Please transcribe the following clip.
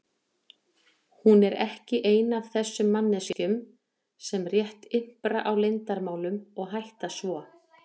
Hún er ekki ein af þessum manneskjum sem rétt ympra á leyndarmálum og hætta svo.